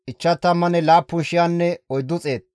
Niftaaleme zarkkefe 53,400.